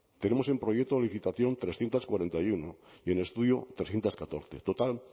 tenemos en proyecto de licitación trescientos cuarenta y uno y en estudio trescientos catorce total